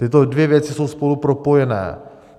Tyto dvě věci jsou spolu propojené.